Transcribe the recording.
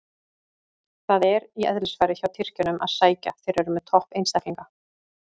Það er í eðlisfari hjá Tyrkjunum að sækja, þeir eru með topp einstaklinga.